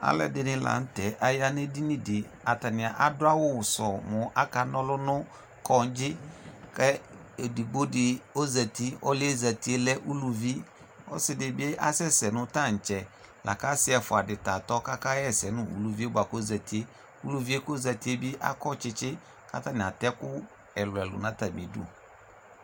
alò ɛdini lantɛ aya n'edini di atani adu awu sɔ mo aka n'ɔlu no kɔndzi k'edigbo di ozati ɔlò yɛ zati lɛ uluvi ɔsi di bi asɛ sɛ no tantsɛ la kò asi ɛfua di ta tɔ k'aka ɣa ɛsɛ no uluvi yɛ boa k'ozati uluvi yɛ k'ozati yɛ bi akɔ tsitsi k'atani atɛ ɛkò ɛlò ɛlò n'atami du